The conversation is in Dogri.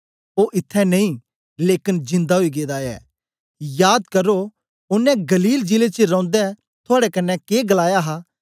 ओ इत्थैं नेई लेकन जिंदा ओई गेदा ऐ याद करो के ओनें गलील जिले च रौंदै थुआड़े कन्ने के गलाया हा